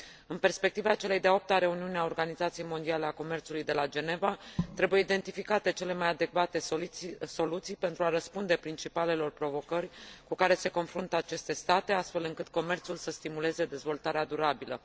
În perspectiva celei de a 8 a reuniuni a Organizației Mondiale a Comerțului de la Geneva, trebuie identificate cele mai adecvate soluții pentru a răspunde principalelor provocări cu care se confruntă aceste state, astfel încât comerțul să stimuleze dezvoltarea durabilă.